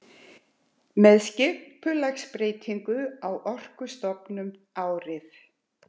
Með skipulagsbreytingu á Orkustofnun árið